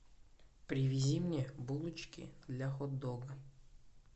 привези мне булочки для хот дога